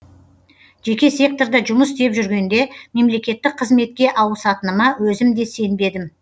жеке секторда жұмыс істеп жүргенде мемлекеттік қызметке ауысатыныма өзім де сенбедім